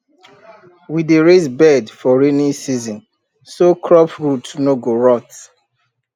we dey raise bed for rainy season so crop root no go rot